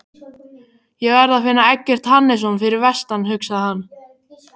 Ég verð að finna Eggert Hannesson fyrir vestan, hugsaði hann.